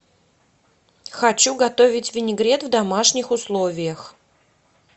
хочу готовить винегрет в домашних условиях